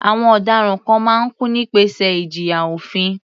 Àwọn ọ̀daràn kan máa ń kú nípasẹ̀ ìjìyà òfin.